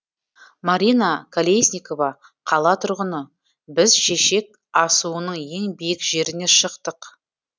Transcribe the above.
марина колесникова қала тұрғыны біз шешек асуының ең биік жеріне шықтық